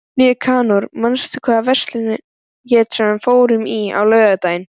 Nikanor, manstu hvað verslunin hét sem við fórum í á laugardaginn?